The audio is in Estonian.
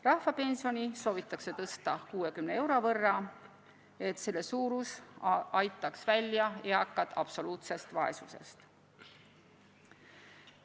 Rahvapensioni soovitakse tõsta 60 euro võrra, et selle suurus aitaks eakad välja absoluutsest vaesusest.